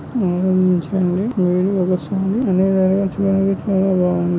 మొ మొ మంచు అండినీరు వస్తుంది. అనే దారి అటు సైడు ఇటు సైడు బాగుంది.